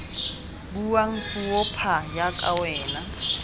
buang puo pha jaaka wena